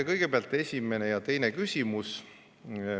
Kõigepealt esimene ja teine küsimus.